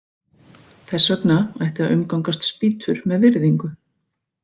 Þess vegna ætti að umgangast spýtur með virðingu.